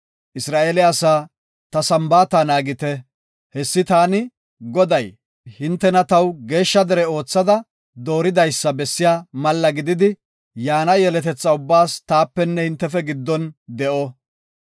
“Isra7eele asaa, ‘Ta Sambaata naagite. Hessi taani, Goday, hintena taw geeshsha dere oothada dooridaysa bessiya malla gididi, yaana yeletetha ubbaas taapenne hintefe giddon de7o.